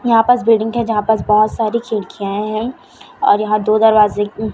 यहां पास बिल्डिंग है यहां पास बहुत सारी खिड़कियांए हैं और यहां दो दरवाजे--